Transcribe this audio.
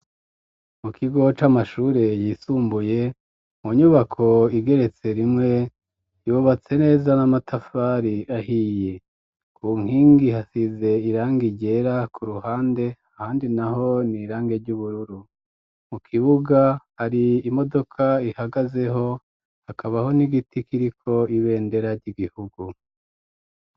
mu kigoca amashure yisumbuye mu nyubako igeretse rimwe yubatse neza n'amatafari ahiye ku nkingi hasize irange igera ku ruhande handi naho niirange ry'ubururu mu kibuga hari imodoka ihagazeho hakabaho n'igiti kiriko ibendera ry'igihugu